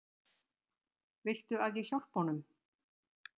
Viltu að ég hjálpi honum?